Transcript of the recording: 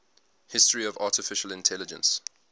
history of artificial intelligence